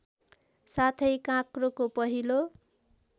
साथै काँक्रोको पहिलो